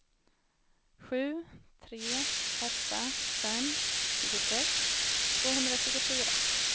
sju tre åtta fem tjugosex tvåhundratjugofyra